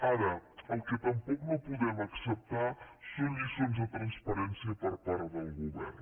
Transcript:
ara el que tampoc no podem acceptar són lliçons de transparència per part del govern